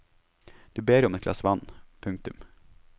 Du ber om et glass vann. punktum